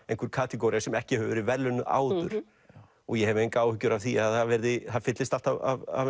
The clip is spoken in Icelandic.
einhver kategóría sem ekki hefur verið verðlaunuð áður ég hef engar áhyggjur af því að það fyllist allt af